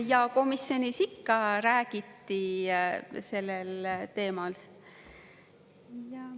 Jaa, komisjonis ikka räägiti sellel teemal.